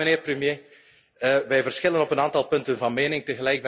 Maar, mijnheer de premier, wij verschillen op een aantal punten van mening.